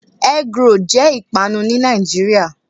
Egg roll' jé ìpanu ní Nàìjíríà